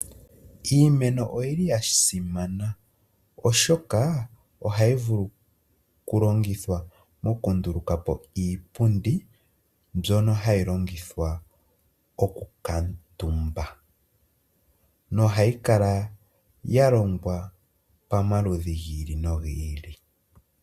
Iimeno oyi li ya simana oshoka oha yi vulu okulongithwa mokundulukapo iipundi mbyono hayi longithwa okukutumba nohayi kala ya longwa pamaludhi giili no giili .